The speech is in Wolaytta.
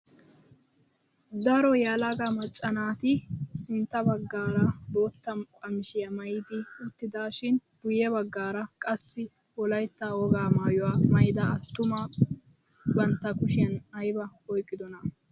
Daro yelaga macca naati sintta baggaara boota qamisiyaa maayidi uttidaashin guye baggaara qassi wolaytta wogaa maayuwaa maayida attuma bantta kushiyaan aybaa oyqidonaa?